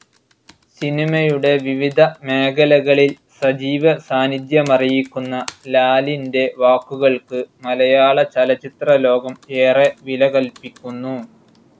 സിനിമയുടെ വിവിധ മേഖലകളിൽ സജീവ സാന്നിധ്യമറിയിക്കുന്ന ലാലിന്റെ വാക്കുകൾക്ക് മലയാളചലച്ചിത്ര ലോകം ഏറെ വില കൽപ്പിക്കുന്നു.